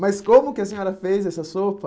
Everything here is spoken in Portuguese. Mas como que a senhora fez essa sopa?